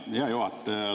Hea juhataja!